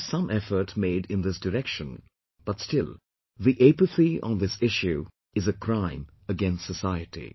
There is always some effort made in this direction, but still the apathy on this issue is a crime against society